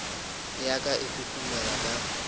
ya ka e huhumela ka